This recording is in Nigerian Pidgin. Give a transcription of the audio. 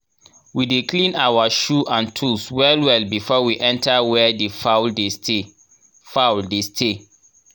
we dey clean our shoe and tools well well before we enter where the fowl dey stay fowl dey stay